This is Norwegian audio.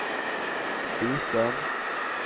bistand